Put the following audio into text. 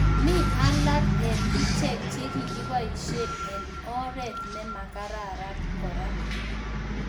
Mi alagee eng icheek chekikipaishee eng oreet nemakararan koraa